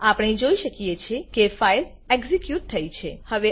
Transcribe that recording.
આપણે જોઈ શકીએ છે કે ફાઈલ એક્ઝીક્યુટ થઇ છે